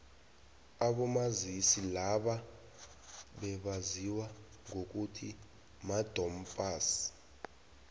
abomazisi laba bebaziwa ngokuthi madom pass